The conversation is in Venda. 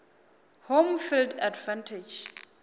home field advantage